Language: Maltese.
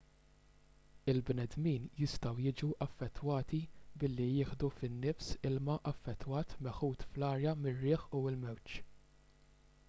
il-bnedmin jistgħu jiġu affettwati billi jieħdu fin-nifs ilma affettwat meħud fl-arja mir-riħ u l-mewġ